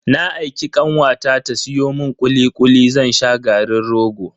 Na aiki kanwata ta siyo mun kuli kuli zan sha garin rogo.